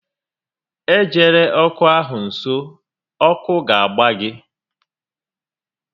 E jela ọkụ ahụ nso, ọkụ ga agba gị!